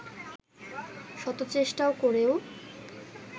শত চেষ্টা করেও